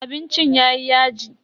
Abincin yayi yaji.